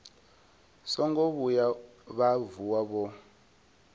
songo vhuya vha vuwa vho